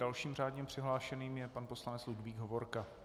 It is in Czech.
Dalším řádně přihlášeným je pan poslanec Ludvík Hovorka.